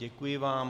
Děkuji vám.